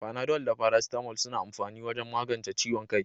Panadol da paracetamol suna amfani wajen magance ciwon kai.